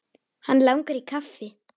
Hann langar í kaffi.